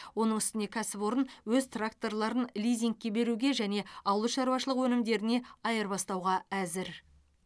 оның үстіне кәсіпорын өз тракторларын лизингке беруге және ауыл шаруашылығы өнімдеріне айырбастауға әзір